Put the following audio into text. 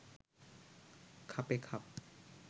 খাপে খাপ